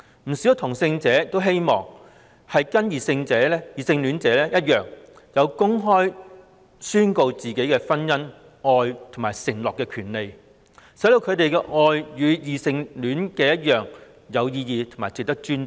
不少同性戀者均希望能與異性戀者一樣，享有公開宣告婚姻、愛和承諾的權利，讓他們的愛與異性戀者一樣來得有意義及值得尊重。